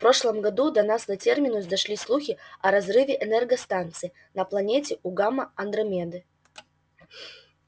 в прошлом году до нас на терминус дошли слухи о разрыве энергостанции на планете у гамма андромеды